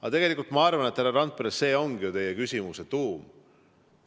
Aga tegelikult ma arvan, härra Randpere, et see ongi ju teie küsimuse tuum.